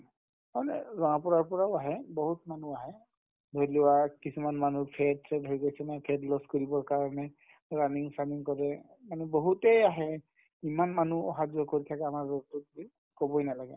মানে গাঁৱৰ পৰা ইয়াৰ পৰাও আহে বহুত মানুহ আহে ধৰিলোৱা কিছুমান মানুহৰ fat চেত হৈ গৈছে ন fat loss কৰিবৰ কাৰণে running চানিং কৰে মানে বহুতে আহে ইমান মানুহ অহা-যোৱা কৰি থাকে আমাৰ road তোয় দি ক'বয়ে নালাগে